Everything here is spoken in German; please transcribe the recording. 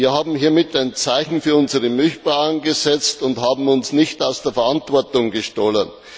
Wir haben hiermit ein Zeichen für unsere Milchbauern gesetzt und haben uns nicht aus der Verantwortung gestohlen.